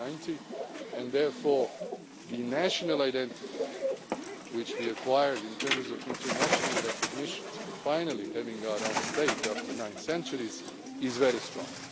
in 1990. And therefore the national identity which we acquired, in terms of international recognition and finally having our own state after nine centuries, is